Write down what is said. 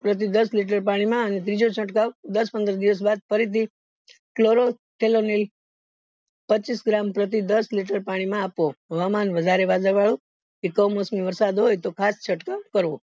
પ્રતિ દસ liter પાણી માં અને ત્રીજો છડ્કાવ દસ પનદાસ બાદ ફરીથી પચીસ gram પ્રતિ દસ liter પાણી માં આપવો હવામાન વધારે વાદળ વાળું કે કમોસમી વરસાદ હોય તો ખાત ચડકાવ કરવો